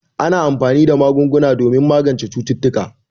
Ana anfani da magunguna domin magance cututtuka.